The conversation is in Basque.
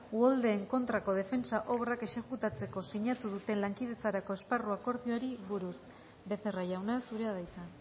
uholdeen kontrako defentsa obrak exekutatzeko sinatua duten lankidetzarako esparru akordioari buruz becerra jauna zurea da hitza